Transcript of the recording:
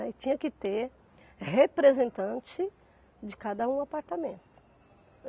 E tinha que ter representante de cada um apartamento.